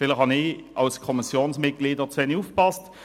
Vielleicht habe ich als Kommissionsmitglied auch zu wenig aufgepasst.